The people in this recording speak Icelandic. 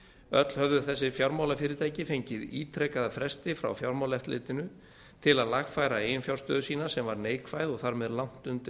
öll höfðu þessi fjármálafyrirtæki fengið ítrekaða fresti frá fjármálaeftirlitinu til að lagfæra eiginfjárstöðu sína sem var neikvæð og þar með langt undir